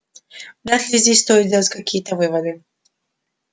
вряд ли здесь стоит делать какие-то выводы